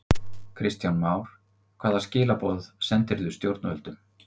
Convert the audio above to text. Kristján Már: Hvaða skilaboð sendirðu stjórnvöldum?